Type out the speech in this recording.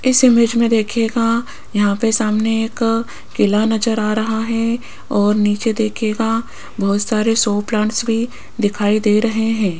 इस इमेज में देखिएगा यहां पे सामने एक किला नजर आ रहा है और नीचे देखिएगा बहुत सारे शो प्लांट्स भी दिखाई दे रहे हैं।